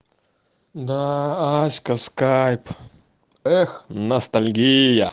да аська в скайп эх ностальгия